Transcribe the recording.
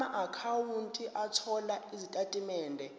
amaakhawunti othola izitatimende